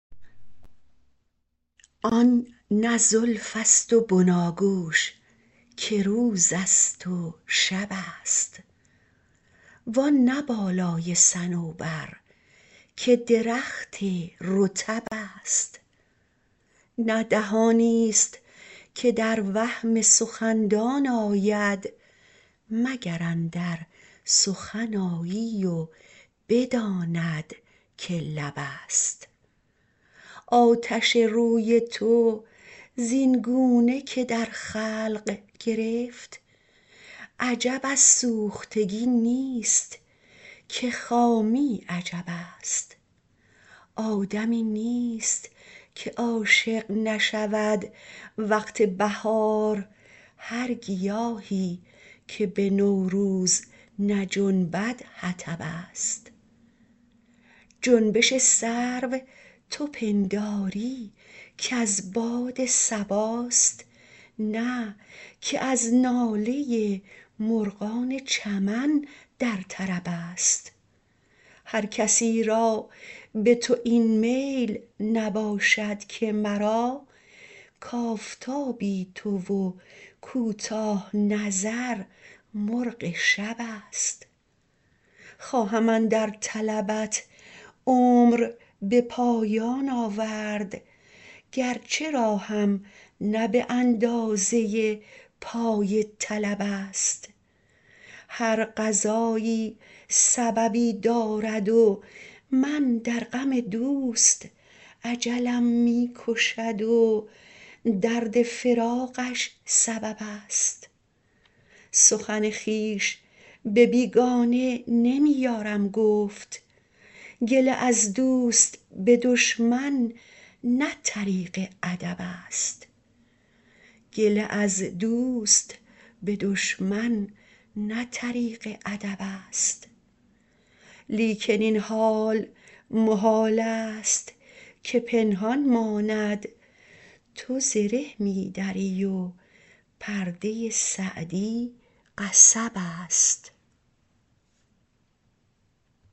آن نه زلف است و بناگوش که روز است و شب است وآن نه بالای صنوبر که درخت رطب است نه دهانی است که در وهم سخندان آید مگر اندر سخن آیی و بداند که لب است آتش روی تو زین گونه که در خلق گرفت عجب از سوختگی نیست که خامی عجب است آدمی نیست که عاشق نشود وقت بهار هر گیاهی که به نوروز نجنبد حطب است جنبش سرو تو پنداری که از باد صباست نه که از ناله مرغان چمن در طرب است هر کسی را به تو این میل نباشد که مرا کآفتابی تو و کوتاه نظر مرغ شب است خواهم اندر طلبت عمر به پایان آورد گرچه راهم نه به اندازه پای طلب است هر قضایی سببی دارد و من در غم دوست اجلم می کشد و درد فراقش سبب است سخن خویش به بیگانه نمی یارم گفت گله از دوست به دشمن نه طریق ادب است لیکن این حال محال است که پنهان ماند تو زره می دری و پرده سعدی قصب است